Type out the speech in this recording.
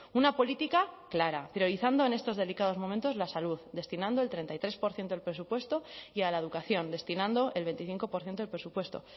una política clara priorizando en estos delicados momentos la salud destinando del treinta y tres por ciento del presupuesto y a la educación destinando el veinticinco por ciento del presupuesto